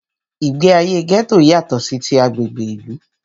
Ìgbé ayé gẹ́tò yátọ̀ sí tí agbègbè ìlú.